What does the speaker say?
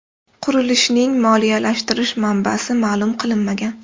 Qurilishning moliyalashtirish manbasi ma’lum qilinmagan.